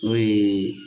N'o ye